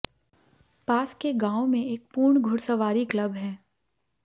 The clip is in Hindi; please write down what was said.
पास के गांव में एक पूर्ण घुड़सवारी क्लब है